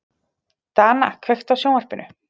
Dana, kveiktu á sjónvarpinu.